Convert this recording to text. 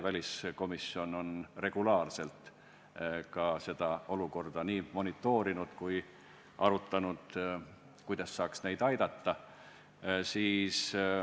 Väliskomisjon on regulaarselt nende olukorda ka monitoorinud ja arutanud, kuidas saaks neid aidata.